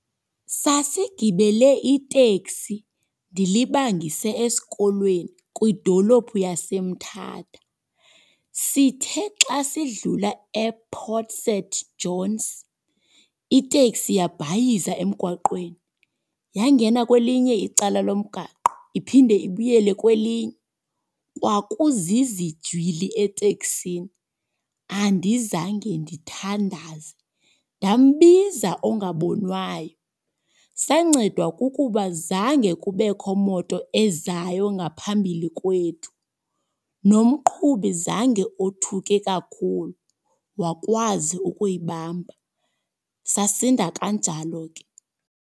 Sasigibele iteksi ndilibangise esikolweni kwidolophu yaseMtata. Sithe xa sidlula ePort St Johns, iteksi yabhayiza emgwaqweni. Yangena kwelinye icala lomgaqo iphinde ibuyele kwelinye. Kwakuzizijwili etekisini, andizange ndithandaze ndambiza ongabonwayo. Sancedwa kukuba zange kubekho moto ezayo ngaphambili kwethu. Nomqhubi zange othuke kakhulu, wakwazi ukuyibamba sasinda kanjalo ke.